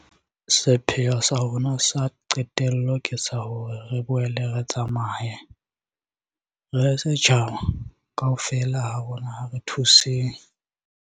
Sepheo sa rona sa qetello ke sa hore re boele re tsamaye. Re le setjhaba, kaofela ha rona ha re thuseng.